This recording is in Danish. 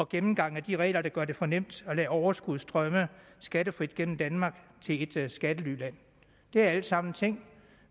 gennemgang af de regler der gør det for nemt at lade overskud strømme skattefrit gennem danmark til et skattelyland det er alt sammen ting